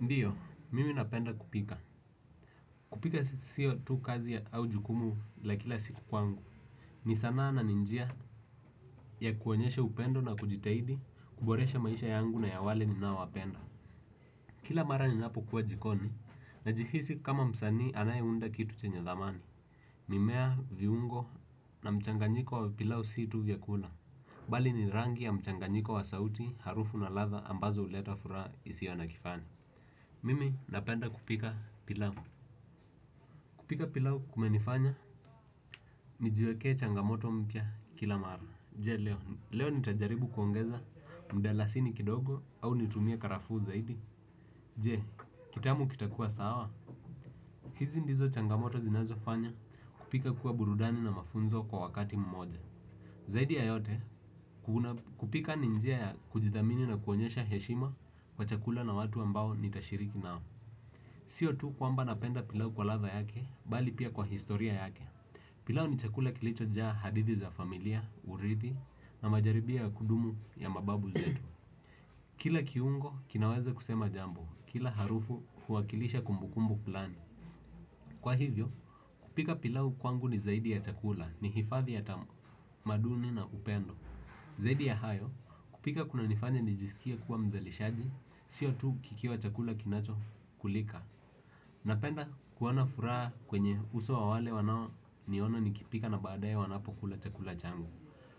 Ndiyo, mimi napenda kupika. Kupika siyo tu kazi au jukumu la kila siku kwangu. Ni sanaa na ni njia ya kuwaonyeshe upendo na kujitahidi kuboresha maisha yangu na ya wale ninao wapenda. Kila mara ninapo kuwa jikoni na jihisi kama msanii anaye unda kitu chenye dhamani. Mimea viungo na mchanganyiko wa pilau si tu vyakula. Bali ni rangi ya mchanganyiko wa sauti harufu na ladha ambazo huleta furaha isiyo na kifani. Mimi napenda kupika pilau. Kupika pilau kumenifanya nijiwekee changamoto mpya kila mara. Je, leo, leo nitajaribu kuongeza mdalasini kidogo au nitumia karafu zaidi. Je, kitamu kitakua sawa. Hizi ndizo changamoto zinazo fanya kupika kuwa burudani na mafunzo kwa wakati mmoja. Zaidi ya yote, kupika ni njia ya kujidhamini na kuonyesha heshima kwa chakula na watu ambao nitashiriki nao. Sio tu kwamba napenda pilau kwa ladha yake, bali pia kwa historia yake. Pilau ni chakula kilicho jaa hadithi za familia, urithi na majaribia ya kudumu ya mababu zetu. Kila kiungo kinaweze kusema jambo, kila harufu huwakilisha kumbukumbu fulani. Kwa hivyo, kupika pilau kwangu ni zaidi ya chakula ni hifadhi ya tamaduni na upendo. Zaidi ya hayo, kupika kunanifanya nijisikie kuwa mzalishaji sio tu kukiwa chakula kinacho kulika. Napenda kuona furaha kwenye uso ya wale wanao niona nikipika na baadaye wanapo kula chakula changu.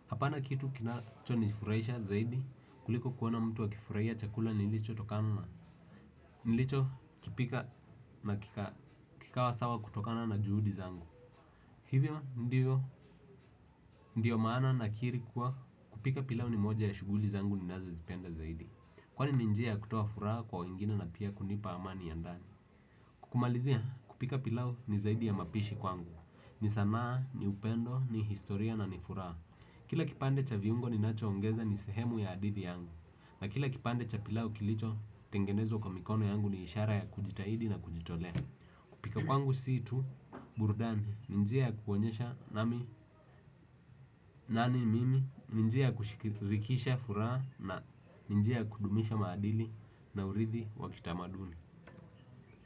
Hapana kitu kinacho nifurahisha zaidi kuliko kuwana mtu wakifurahia chakula nilicho kipika na kikawa sawa kutokana na juudi zangu. Hivyo ndiyo maana nakiri kuwa kupika pilau ni moja ya shughuli zangu ninazo zipenda zaidi. Kwani ni njia ya kutoa furaha kwa wengine na pia kunipa amani ya ndani. Kukumalizia kupika pilau ni zaidi ya mapishi kwangu. Ni sanaa, ni upendo, ni historia na ni furaha. Kila kipande cha viungo ninacho ongeza ni sehemu ya hadithi yangu. Na kila kipande cha pilau kilicho tengenezwa kwa mikono yangu ni ishara ya kujitahidi na kujitole. Pika kwangu si tu burudani, ni njia ya kuonyesha nami nani mimi ni njia ya kushikirikisha furaha na ni njia ya kudumisha maadili na urithi wa kitamaduni.